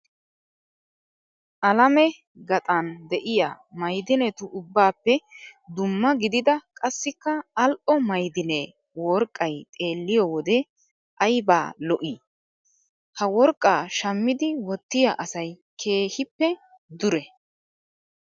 Alame gaxan de'iyaa mayidinetu ubbaappe dumma gididaa qassikka al'o mayidinee worqqayi xeelliyoo wode ayiba lo'ii. ha worqqa shammidi wottiyaa asayi keehippe dure.